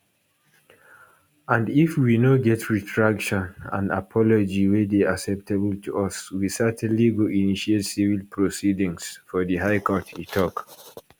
and if we no get retraction and apology wey dey acceptable to us we certainly go initiate civil proceedings for di high court e tok